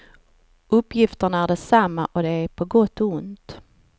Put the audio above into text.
Uppgifterna är desamma och det är på gott och ont.